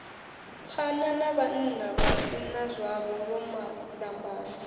pfana navhannavha si nazwavho vhomalambane